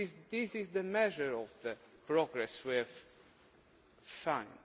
This is the measure of the progress we have found.